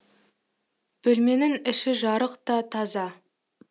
бөлменің іші жарық та таза